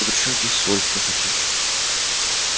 ну при чём здесь соль скажите